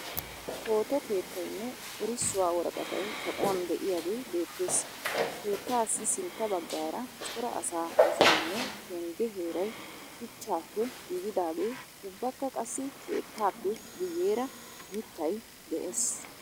Photo keettayinne erissuwa woraqatay kaquwan de'iyagee beettes. Keettaassi sintta baggaara cora asaa misileenne pengge heeray shuchchaappe giigidaagee ubbakka qassi keettaappe guyeera mittay de'ees.